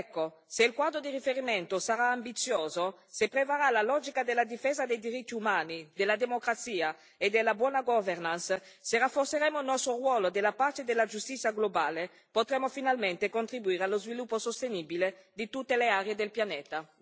Ecco, se il quadro di riferimento sarà ambizioso, se prevarrà la logica della difesa dei diritti umani, della democrazia e della buona governance, se rafforzeremo il nostro ruolo della pace e della giustizia globale, potremo finalmente contribuire allo sviluppo sostenibile di tutte le aree del pianeta.